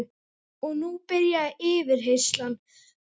Og nú byrjaði yfirheyrslan